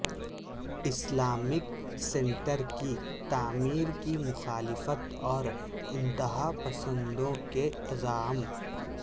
Islamic سینٹرکی تعمیر کی مخالفت اور انتہاپسندوں کے عزائم